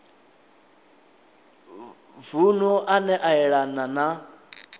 vunu ane a yelana na